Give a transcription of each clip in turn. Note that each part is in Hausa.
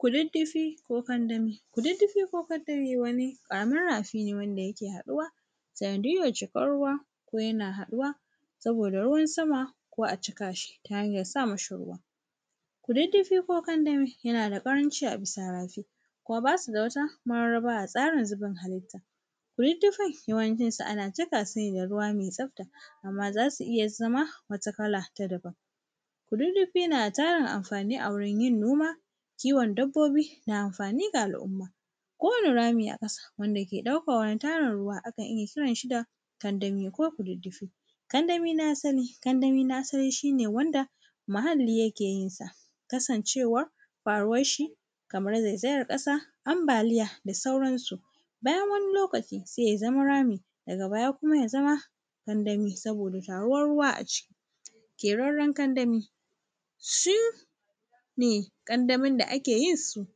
Kududdufi ko kandami. Kududdufi ko kandami wani ƙaramin rafi ne wanda yake haɗuwa sanadiyyar cikar ruwa ko yana haɗuwa saboda ruwan sama ko a cika shi ta hanyar sa mashi ruwa. Kududdufi ko kandami yana da ƙaranci a bisa rafi kuma basu da wata mararraba a tsarin zubin halitta. Kududdufin yawancin su ana cika su ne da ruwa mai tsafta amma za su iya zama wata kala ta daban. Kududdufi na da tarin amfani a wurin yin noma, kiwon dabbobi ga amfani da al’umma. Kowane rami aka samu wanda ke ɗaukan ruwa akan iya kiran shi da kandami ko kududdufi. Kandami na san kandami na san shine wanda muhalli yake yin sa kasancewar faruwar shi kamar zaizayar ƙasa, ambaliya da sauran su. Bayan wani lokaci sai ya zama rami, daga baya kuma yazama kandami saboda taruwar ruwa a ciki. Ƙerarren kandami shine kandamin da ake yin su,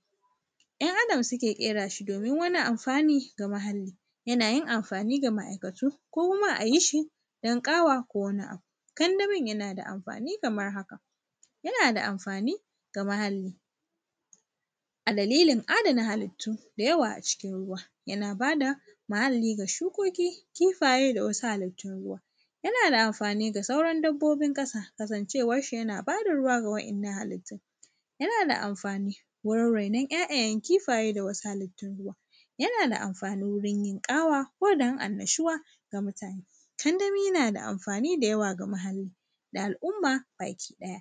‘yan adam suke ƙera su domin wani amfani ga muhalli, yana yin amfani ga ma’aikatu ko kuma a yi shi don ƙawa ko wani abu. Kandamin yana da amfani kamar haka, yana da amfani ga muhalli, a dalilin adana halittu da yawa a cikin ruwa, yana bada muhalli ga shukoki, kifaye da wasu halittun ruwa, yana da amfani ga sauran dabbobin ƙasa kasancewar shi yana bada ruwa ga wa’innan halittu. Yana da amfani wurin rainon ‘ya’yayen kifaye da wasu halittu ruwa, yana da amfani wurin yin ƙawa ko don annashuwa ga mutane. Kandami na da amfani da yawa ga muhallai da al’umma baki ɗaya.